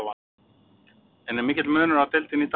En er mikill munur á deildinni í dag og þá?